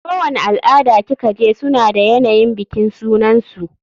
Kowani al-ada ki kaje suna da yanayin bikin sunansu.